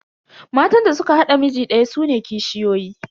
Matan da suka haɗa miji daya sune kishiyoyi.